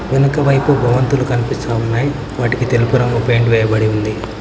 వెనకవైపు భవంతులు కనిపిస్తా ఉన్నాయి వాటికి తెలుపు రంగు పెయింట్ వేయబడి ఉంది.